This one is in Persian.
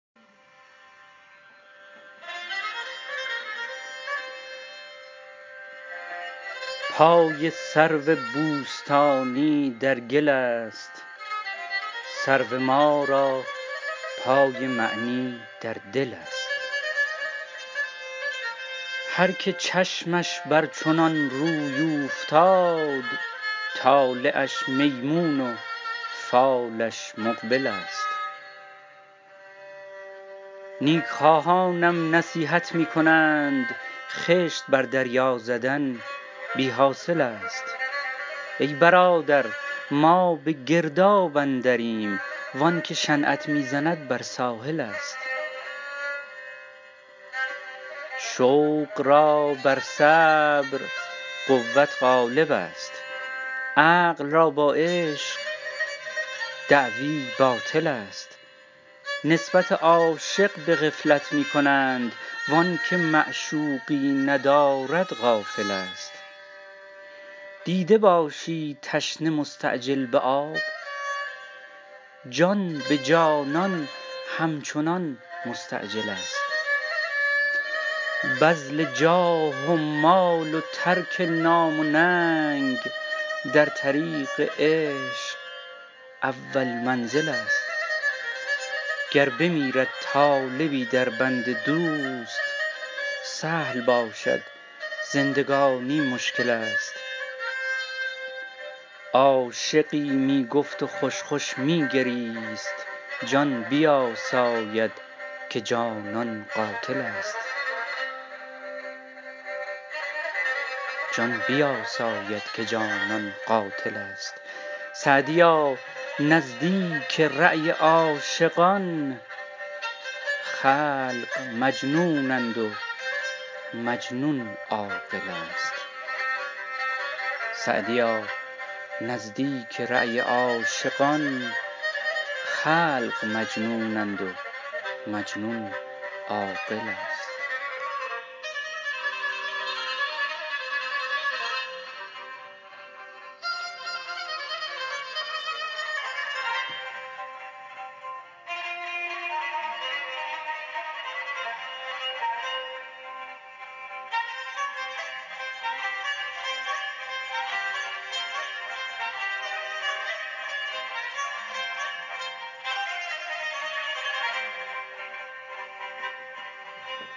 پای سرو بوستانی در گل است سرو ما را پای معنی در دل است هر که چشمش بر چنان روی اوفتاد طالعش میمون و فالش مقبل است نیک خواهانم نصیحت می کنند خشت بر دریا زدن بی حاصل است ای برادر ما به گرداب اندریم وان که شنعت می زند بر ساحل است شوق را بر صبر قوت غالب است عقل را با عشق دعوی باطل است نسبت عاشق به غفلت می کنند وآن که معشوقی ندارد غافل است دیده باشی تشنه مستعجل به آب جان به جانان همچنان مستعجل است بذل جاه و مال و ترک نام و ننگ در طریق عشق اول منزل است گر بمیرد طالبی در بند دوست سهل باشد زندگانی مشکل است عاشقی می گفت و خوش خوش می گریست جان بیاساید که جانان قاتل است سعدیا نزدیک رای عاشقان خلق مجنونند و مجنون عاقل است